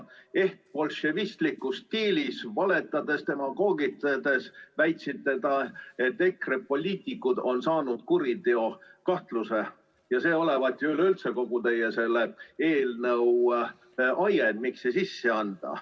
Eht bolševistlikus stiilis valetades ja demagoogitsedes väitsite, et EKRE poliitikud on saanud kuriteokahtluse ja see olevat üleüldse kogu selle teie eelnõu ajend, miks see sisse anti.